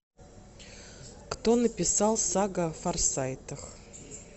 кто написал сага о форсайтах